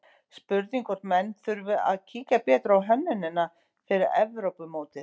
Spurning hvort menn þurfi að kíkja betur á hönnunina fyrir Evrópumótið?